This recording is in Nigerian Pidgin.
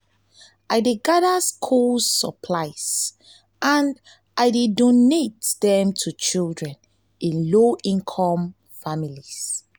i dey gather school supplies and i dey donate dem to children in low-income families.